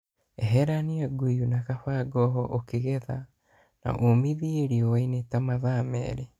Eherania nguyu na kabangoho ukĩgetha na ũmithie riowainĩ ta matha mĩrĩ